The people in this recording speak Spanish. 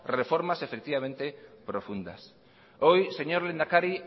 reformas profundas hoy señor lehendakari